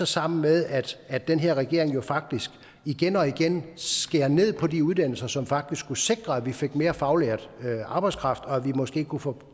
sammen med at den her regering jo faktisk igen og igen skærer ned på de uddannelser som faktisk skulle sikre at vi fik mere faglært arbejdskraft og at vi måske kunne få